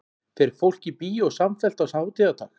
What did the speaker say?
fer fólk í bíó samfellt á hátíðardag